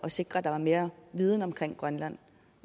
sikre at der var mere viden om grønland